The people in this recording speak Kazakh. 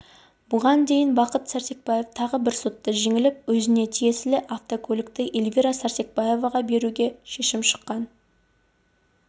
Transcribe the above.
бұған дейін бақыт сәрсекбаев тағы бір сотта жеңіліп өзіне тиесілі автокөлікті эльвира сәрсекбаеваға беруге шешім шыққан